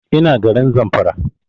Ina garin Zamfara